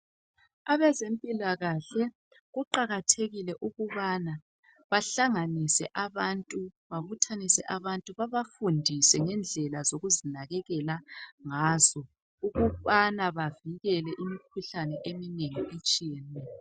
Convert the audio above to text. Abezempilakahle kuqakathekile ukubana bahlanganise abantu bababuthanise abantu babafundise ngendlela zokuzinakekela ngazo ukubana bavikele imikhuhlane eminengi etshiyeneyo.